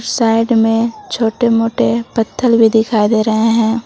Side में छोटे मोटे पत्थल भी दिखाई दे रहे हैं।